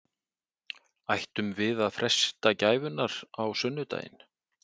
Ættum við að freista gæfunnar á sunnudaginn?